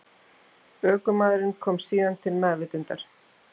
Ökumaðurinn komst síðan til meðvitundar